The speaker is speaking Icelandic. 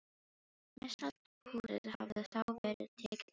Mestallt húsið hafði þá verið tekið af þeim.